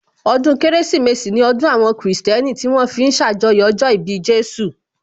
Ọdún Kérésìmesì ní ọdún àwọn kìrìsìtẹ́nì tí wón fi ń ṣàjọyọ̀ ọjọ́ ìbí Jésù